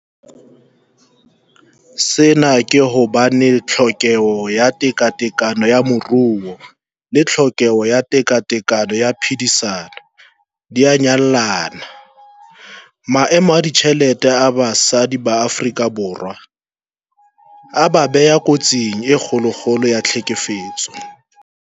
Sena ke hobane tlhokeho ya tekatekano ya moruo le tlhokeho ya tekatekano ya phedisano di a nyallana. Maemo a ditjhelete a basadi Afrika Borwa a ba beha kotsing e kgolokgolo ya tlhekefetso.